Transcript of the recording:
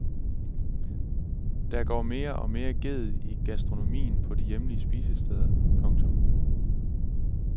Der går mere og mere ged i gastronomien på de hjemlige spisesteder. punktum